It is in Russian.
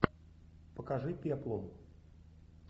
покажи пеплум